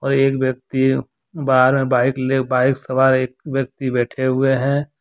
और एक व्यक्ति बाहर में बाइक ले बाइक सवार एक व्यक्ति बैठे हुए हैं।